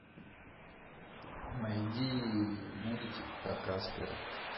найди мультик про каспера